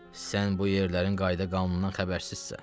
Sən bu yerlərin qayda-qanunundan xəbərsizsən.